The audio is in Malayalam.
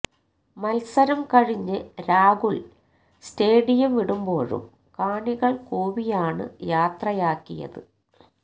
മത്സരം കഴിഞ്ഞ് രാഹുല് സ്റ്റേഡിയം വിടുമ്പോഴും കാണികള് കൂവിയാണ് യാത്രയാക്കിയത്